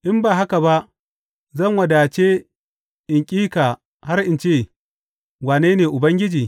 In ba haka ba, zan wadace in ƙi ka har in ce, Wane ne Ubangiji?’